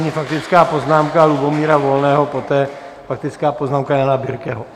Nyní faktická poznámka Lubomíra Volného, poté faktická poznámka Jana Birkeho.